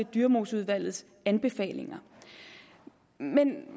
dyremoseudvalgets anbefalinger men